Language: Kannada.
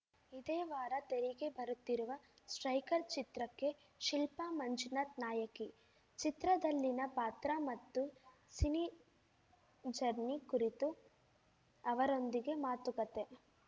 ಇದೇ ವಾರ ತೆರೆಗೆ ಬರುತ್ತಿರುವ ಸ್ಟ್ರೈಕರ್ ಚಿತ್ರಕ್ಕೆ ಶಿಲ್ಪಾ ಮಂಜುನಾಥ್‌ ನಾಯಕಿ ಚಿತ್ರದಲ್ಲಿನ ಪಾತ್ರ ಮತ್ತು ಸಿನಿಜರ್ನಿ ಕುರಿತು ಅವರೊಂದಿಗೆ ಮಾತುಕತೆ